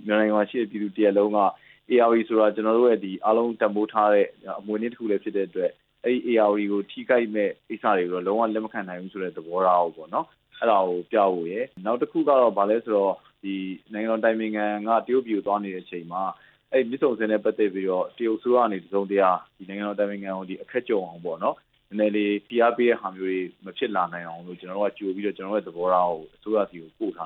မြန်မာနိုင်ငံမှာရှိတဲ့ ပြည်သူတစ်ရပ်လုံးက ဧရာဝတီဆိုတာ အားလုံးတန်ဖိုးထားတဲ့ အမွေအနှစ်တစ်ခုလည်း ဖြစ် တဲ့အတွက် အဲ့ဒီဧရာဝတီကို ထိခိုက်မယ့်ကိစ္စတွေကို လုံးဝလက်မခံနိုင်ဘူးဆိုတဲ့ သဘောထားကိုပြဖို့ရယ် နောက် တစ်ခုက နိုင်ငံတော်အတိုင်ပင်ခံက တရုတ်ပြည်ကို သွားနေတဲ့အချိန်မှာ အဲ့မြစ်ဆုံဆည်နဲ့ ပတ်သက်ပြီးတော့ တရုတ်အစိုးရက တစ်စုံတရာ နိုင်ငံတော်အတိုင်ပင်ခံကို အခက်ကြုံအောင် နည်းနည်းလေးဖိအားပေးတဲ့ဟာ မျိုးတွေ မဖြစ်လာနိုင်အောင်လို့ ကျနော်တို့ရဲ့ သဘောထားကို အစိုးရဆီကိုပို့ထာ